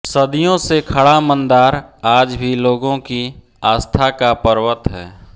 सदियों से खड़ा मंदार आज भी लोगों की आस्था का पर्वत है